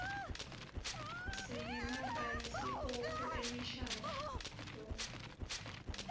sinemabhayisikobho emishadvo